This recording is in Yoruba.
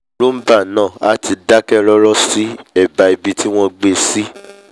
roomba náà a ti dákẹ́ rọ́rọ́ sí ẹ̀bá ibi tí wọ́n gbé e sí